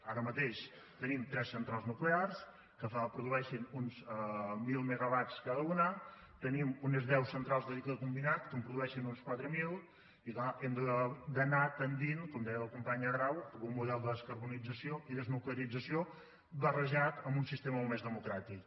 ara mateix tenim tres centrals nuclears que produeixen uns mil megawatts cada una tenim unes deu centrals de cicle combinat que en produeixen uns quatre mil i clar hem d’anar tendint com deia la companya grau cap a un model de descarbonització i desnuclearització barrejat amb un sistema molt més democràtic